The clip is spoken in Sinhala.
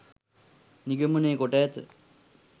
නිගමනය කොට ඇත.